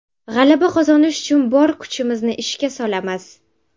G‘alaba qozonish uchun bor kuchimizni ishga solamiz.